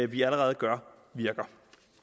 vi allerede gør virker